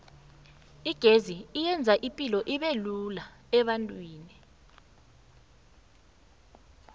igezi yenza ipilo ubelula ebantwini